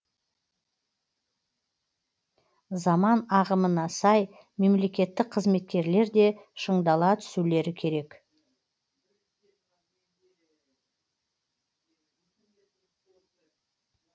заман ағымына сай мемлекеттік қызметкерлер де шыңдала түсулері керек